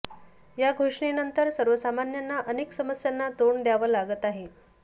या घोषणेनंतर सर्वसामान्यांना अनेक समस्यांना तोंड द्यावं लागत आहे